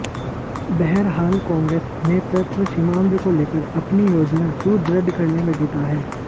बहरहाल कांग्रेस नेतृत्व सीमांध्र को लेकर अपनी योजना सुदृढ़ करने में जुटा है